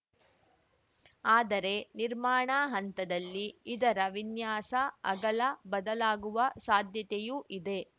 ಆದರೆ ನಿರ್ಮಾಣ ಹಂತದಲ್ಲಿ ಇದರ ವಿನ್ಯಾಸ ಅಗಲ ಬದಲಾಗುವ ಸಾಧ್ಯತೆಯೂ ಇದೆ